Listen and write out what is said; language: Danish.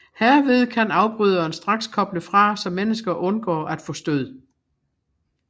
Herved kan afbryderen straks koble fra så mennesker undgår at få stød